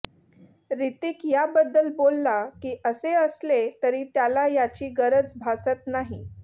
हृतिक याबद्दल बोलला की असे असले तरी त्याला याची गरज भासत नाही